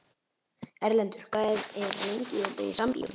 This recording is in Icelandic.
Erlendur, hvað er lengi opið í Sambíóunum?